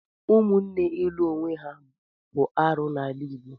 Ụmụnne ilụ onwe ha bụ arụ n'ala Igbo.